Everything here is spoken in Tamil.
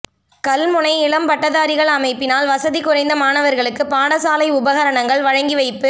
கல்முனை இளம்பட்டதாரிகள் அமைப்பினால் வசதி குறைந்த மாணவர்களுக்கு பாடசாலை உபகரணங்கள் வழங்கிவைப்பு